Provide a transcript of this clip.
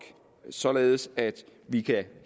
således at vi kan